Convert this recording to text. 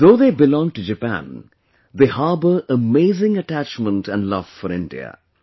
Though they belong to Japan, they harbour amazing attachment and love for India